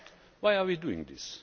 Why are we doing this?